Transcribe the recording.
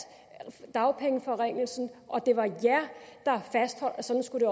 dagpengeforringelsen og at det var dem der fastholdt at sådan skulle det